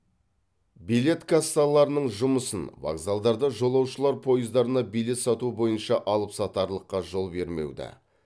билет кассаларының жұмысын вокзалдарда жолаушылар пойыздарына билет сату бойынша алыпсатарлыққа жол бермеуді